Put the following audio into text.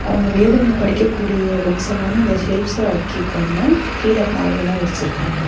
அவங்க வேதங்கள படிக்கக்கூடிய புக்ஸ் எல்லாமே அந்த செல்ப்ஸ்ல அடுக்கி இருக்காங்க கீழ பாய் எல்லா விரிச்சிருக்காங்க.